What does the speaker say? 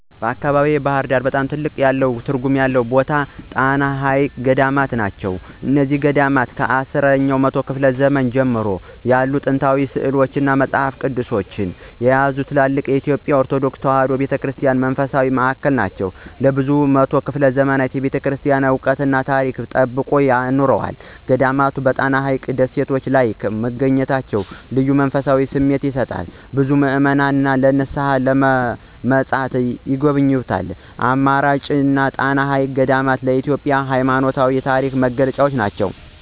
በአካባቢዬ (ባሕር ዳር) በጣም ትልቅ ትርጉም አለው የምለው ታሪካዊ ቦታ የጣና ሐይቅ ገዳማት ናቸው። እነዚህ ገዳማት ከአስራ አራተኛው መቶ ክፍለ ዘመን ጀምሮ ያሉ ጥንታዊ ሥዕሎችን፣ መጻሕፍትንና ቅርሶችን የያዙ ትልልቅ የኢትዮጵያ ኦርቶዶክስ ተዋሕዶ ቤተ ክርስቲያን መንፈሳዊ ማዕከላት ናቸው። ለብዙ መቶ ዘመናት የቤተክርስቲያኗን ዕውቀትና ታሪክ ጠብቀው ኖረዋል። ገዳማቱ በጣና ሐይቅ ደሴቶች ላይ መገኘታቸው ልዩ መንፈሳዊ ስሜት ይሰጣል፤ ብዙ ምዕመናን ለንስሓና ለመማፀን ይጎበኟቸዋል። በአጭሩ፣ ጣና ሐይቅ ገዳማት ለኢትዮጵያ የሃይማኖትና የታሪክ መገለጫ ናቸው።